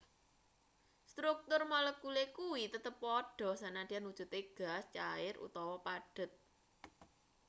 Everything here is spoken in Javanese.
struktur molekule kuwi tetep padha sanadyan wujute gas cair utawa padhet